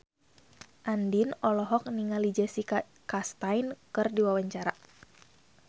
Andien olohok ningali Jessica Chastain keur diwawancara